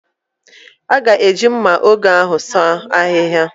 A ga-eji mma ògè ahụ sụọ ahịhịa